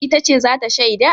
Ita ce za ta shaida?